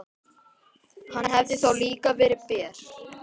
Hann hefði þá líka verið ber.